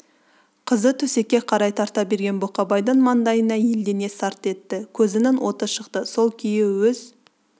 қызды төсекке қарай тарта берген бұқабайдың маңдайына елдене сарт етті көзінің оты шықты сол күйі өз